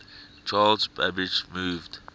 charles babbage moved